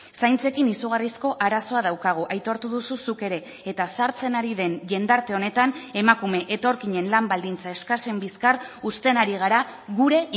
zaintzekin izugarrizko arazoa daukagu aitortu duzu zuk ere eta zahartzen ari den jendarte honetan emakume etorkinen lan baldintza eskasen bizkar uzten ari gara gure